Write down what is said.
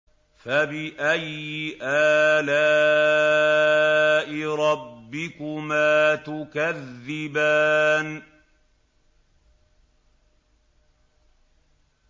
فَبِأَيِّ آلَاءِ رَبِّكُمَا تُكَذِّبَانِ